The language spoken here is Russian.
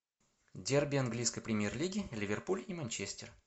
дерби английской премьер лиги ливерпуль и манчестер